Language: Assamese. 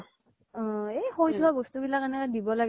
এ সৈ থোৱা বস্তু বিলাক এনেও দিব লাগে